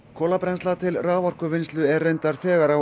kolabrennsla til raforkuvinnslu er reyndar þegar á